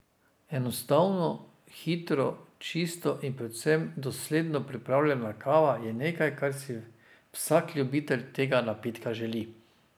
Enostavno, hitro, čisto in predvsem dosledno pripravljena kava je nekaj kar si vsak ljubitelj tega napitka želi.